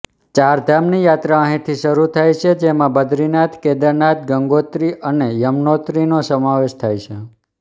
ચારધામની યાત્રા અહીંથી શરુ થાય છે જેમાં બદ્રીનાથ કેદારનાથ ગંગોત્રી અને યમનોત્રીનો સમાવેશ થાય છે